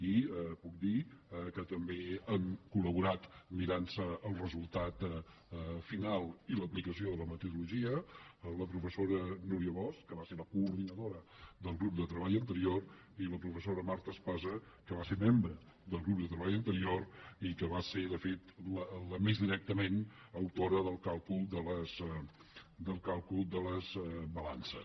i puc dir que també hi han col·laborat mirant se el resultat final i l’aplicació de la metodologia la professora núria bosch que va ser la coordinadora del grup de treball anterior i la professora marta espasa que va ser membre del grup de treball anterior i que va ser de fet la més directament autora del càlcul de les balances